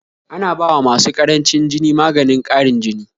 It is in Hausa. ana bawa masu ƙarancin jini maganin ƙarin jini